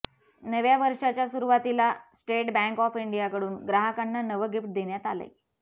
नव्या वर्षाच्या सुरुवातीला स्टेट बँक ऑफ इंडियाकडून ग्राहकांना नवं गिफ्ट देण्यात आलंय